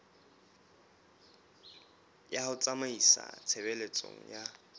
ya ho tsamaisa tshebeletso ya